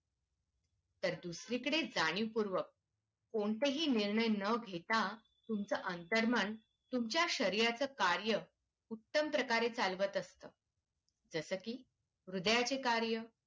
तर दुसरीकडे जाणीवपूर्वक कोणताही निर्णय न घेता तुमचं अंतरमन तुमच्या शरीराचं कार्य उत्तम प्रकारे चालवत असतं जस कि हृदयाचं कार्य